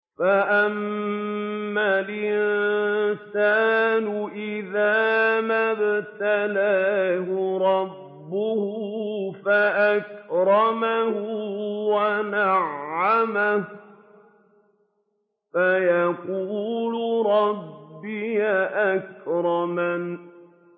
فَأَمَّا الْإِنسَانُ إِذَا مَا ابْتَلَاهُ رَبُّهُ فَأَكْرَمَهُ وَنَعَّمَهُ فَيَقُولُ رَبِّي أَكْرَمَنِ